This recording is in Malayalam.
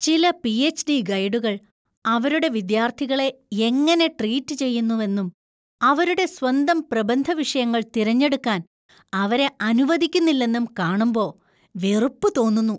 ചില പി.എച്ച്.ഡി. ഗൈഡുകൾ അവരുടെ വിദ്യാർത്ഥികളെ എങ്ങനെ ട്രീറ്റ് ചെയ്യുന്നുവെന്നും, അവരുടെ സ്വന്തം പ്രബന്ധ വിഷയങ്ങൾ തിരഞ്ഞെടുക്കാൻ അവരെ അനുവദിക്കുന്നില്ലെന്നും കാണുമ്പോ വെറുപ്പ് തോന്നുന്നു .